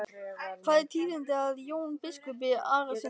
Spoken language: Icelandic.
Hvað er tíðinda af Jóni biskupi Arasyni?